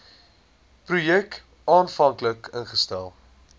projek aanvanklik ingestel